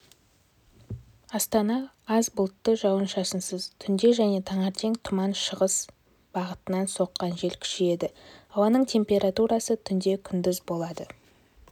астана аз бұлтты жауын-шашынсыз түнде және таңертең тұман шығыс бағытынан соққан жел күшейеді ауаның температурасы түнде күндіз болады